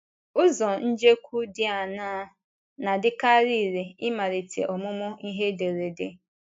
Ụzọ njekwu dị aṅaa na - adịkarị irè n’ịmalite ọmụmụ ihe ederede?